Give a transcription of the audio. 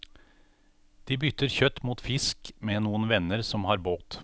De bytter kjøtt mot fisk med noen venner som har båt.